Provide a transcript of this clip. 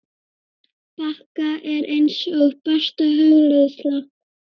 bakka er eins og besta hugleiðsla.